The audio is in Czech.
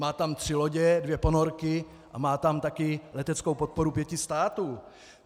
Má tam tři lodě, dvě ponorky a má tam taky leteckou podporu pěti států.